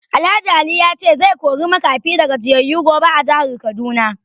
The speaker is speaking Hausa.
Alh Ali ya ce zai kori makafi da gajiyayu gobe a jihar Kaduna